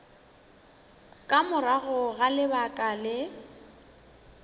ka morago ga lebaka le